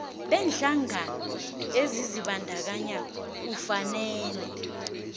beenhlangano ezizibandakanyako ufanele